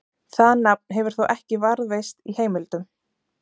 Það nafn hefur þó ekki varðveist í heimildum.